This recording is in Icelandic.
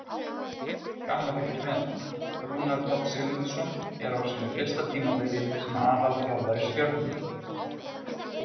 Gaman að fylgjast með: Rúnar Páll Sigmundsson er á sínu fyrsta tímabili sem aðalþjálfari Stjörnunnar.